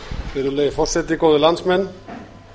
virðulegi forseti góðir landsmenn